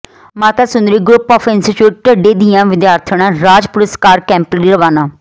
ਮਾਤਾ Sundari group of institute Dhadde ਦੀਆਂ ਵਿਦਿਆਰਥਣਾਂ ਰਾਜ ਪੁਰਸਕਾਰ ਕੈਂਪ ਲਈ ਰਵਾਨਾ